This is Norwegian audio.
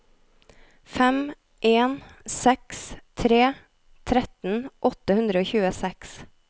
fem en seks tre tretten åtte hundre og tjueseks